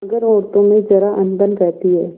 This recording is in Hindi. मगर औरतों में जरा अनबन रहती है